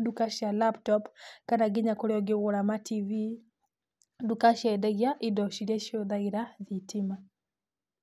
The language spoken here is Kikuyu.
nduka cia laptop kana kũrĩa nginya ũngĩgũra matibi, nduka ciendagia indo iria cihũthagĩra thitima.